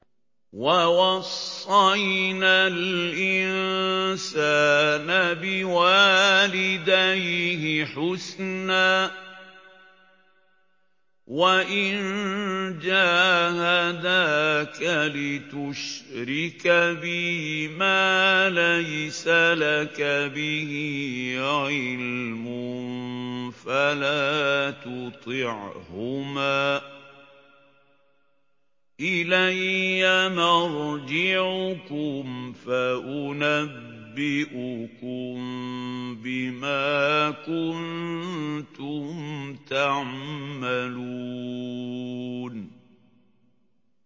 وَوَصَّيْنَا الْإِنسَانَ بِوَالِدَيْهِ حُسْنًا ۖ وَإِن جَاهَدَاكَ لِتُشْرِكَ بِي مَا لَيْسَ لَكَ بِهِ عِلْمٌ فَلَا تُطِعْهُمَا ۚ إِلَيَّ مَرْجِعُكُمْ فَأُنَبِّئُكُم بِمَا كُنتُمْ تَعْمَلُونَ